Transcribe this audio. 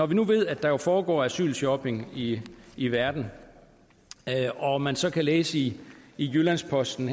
vi nu ved at der foregår asylshopping i i verden og man så kunne læse i jyllands posten